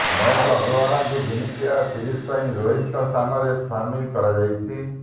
ମୟଙ୍କ ଅଗ୍ରୱାଲଙ୍କୁ ଦିନିକିଆ ସିରିଜ୍ ପାଇଁ ରୋହିତଙ୍କ ସ୍ଥାନରେ ସାମିଲ୍ କରାଯାଇଛି